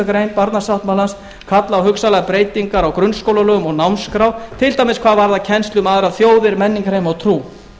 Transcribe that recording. grein barnasáttmálans kallað á hugsanlegar breytingar á grunnskólalögum og námskrá til dæmis hvað varðar kennslu um aðrar þjóðir menningarheima og trú